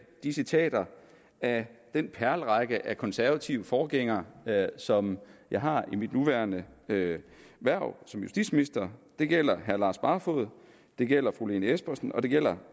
de citater af den perlerække af konservative forgængere som jeg har i mit nuværende hverv hverv som justitsminister det gælder herre lars barfoed det gælder fru lene espersen og det gælder